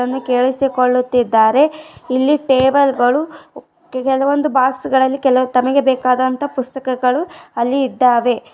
ಅನ್ನು ಕೆಳಿಸಿಕೊಳ್ಳುತ್ತಿದ್ದಾರೆ . ಇಲ್ಲಿ ಟೇಬಲ್ ಗಳು ಕೆಲವು ಬಾಕ್ಸ್ ಗಳಲ್ಲಿ ತಮಗೆ ಬೇಕಾದಂತ ಪುಸ್ತಕಗಳು ಅಲ್ಲಿ ಇದ್ದಾವೆ .